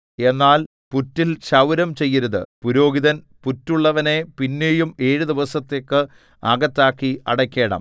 എന്നാൽ പുറ്റിൽ ക്ഷൗരം ചെയ്യരുത് പുരോഹിതൻ പുറ്റുള്ളവനെ പിന്നെയും ഏഴു ദിവസത്തേക്ക് അകത്താക്കി അടയ്ക്കേണം